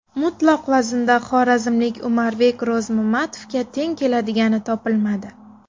Mutlaq vaznda xorazmlik Umarbek Ro‘zmamatovga teng keladigani topilmadi.